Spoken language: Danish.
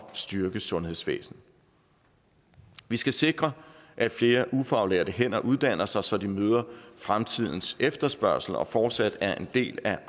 at styrke sundhedsvæsenet vi skal sikre at flere ufaglærte uddanner sig så de kan møde fremtidens efterspørgsel og fortsat være en del af